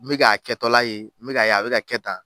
N bɛ k'a kɛtɔla ye, n bɛ k'a ye a bɛ ka kɛ tan.